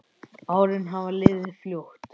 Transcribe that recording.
Árin hafa liðið fljótt.